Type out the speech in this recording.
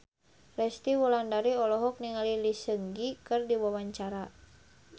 Resty Wulandari olohok ningali Lee Seung Gi keur diwawancara